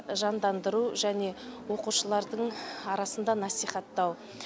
жандандыру және оқушылардың арасында насихаттау